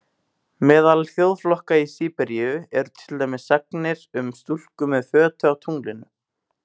Meðal þjóðflokka í Síberíu eru til dæmis sagnir um stúlku með fötu á tunglinu.